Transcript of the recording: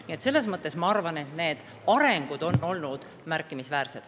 Nii et ma arvan, et arengud on olnud märkimisväärsed.